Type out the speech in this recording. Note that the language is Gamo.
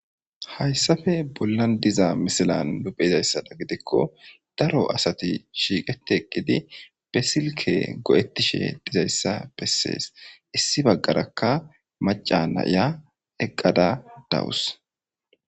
Hayssafe bollan diza misilan nupheizayssada gidikko daro asati shiiqeti eqqidi besilke go7ettishe dizayssa bessees issi baggarakka maca nayiya eqqada dawus